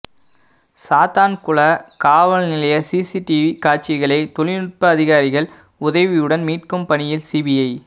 சாத்தான்குள காவல்நிலைய சிசிடிவி காட்சிகளை தொழில்நுட்ப அதிகாரிகள் உதவியுடன் மீட்கும் பணியில் சிபிஐ